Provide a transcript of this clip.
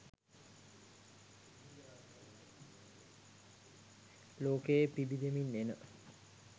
ලෝකයේ පිබිදෙමින් එන